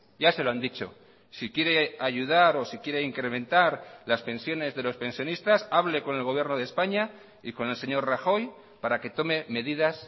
ya se lo han dicho si quiere ayudar o si quiere incrementar las pensiones de los pensionistas hable con el gobierno de españa y con el señor rajoy para que tome medidas